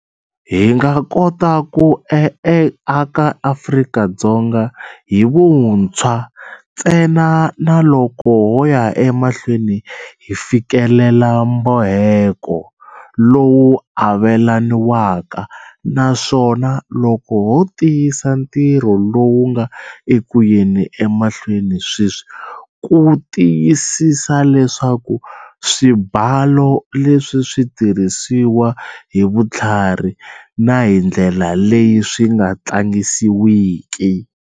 Hi nga kota ku aka Afrika-Dzonga hi vuntshwa ntsenaloko ho ya emahlweni hi fikelela mboheko lowu avelaniwaka, naswona loko ho tiyisa ntirho lowu nga eku yeni emahlweni sweswi ku tiyisisa leswaku swibalo leswi swi tirhisiwa hi vutlhari na hi ndlela leyi swi nga tlangisiwiki.